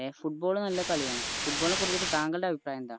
ഏർ football നല്ല കളിയാണ് football നെ കുറിച്ച് തങ്ങളുടെ അഭിപ്രായമെന്താ